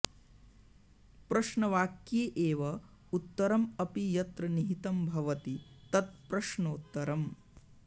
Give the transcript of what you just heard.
प्रश्नवाक्ये एव उत्तरम् अपि यत्र निहितं भवति तत् प्रश्नोत्तरम्